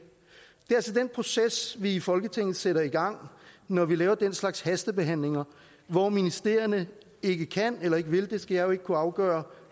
det den proces vi i folketinget sætter i gang når vi laver den slags hastebehandlinger hvor ministerierne ikke kan eller ikke vil det skal jeg jo ikke kunne afgøre